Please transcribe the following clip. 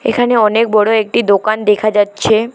এখানে অনেক বড় একটি দোকান দেখা যাচ্ছে।